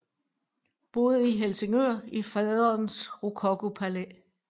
Boede i Helsingør i faderens rokokopalæ